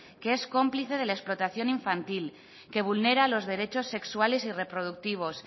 que es cómplice de la explotación infantil que vulnera los derechos sexuales y reproductivos